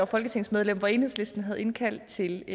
folketingsmedlem hvor enhedslisten havde indkaldt til